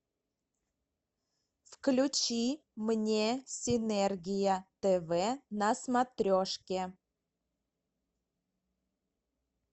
включи мне синергия тв на смотрешке